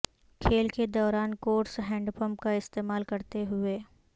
کھیل کے دوران کورس ہینڈپپ کا استعمال کرتے ہوئے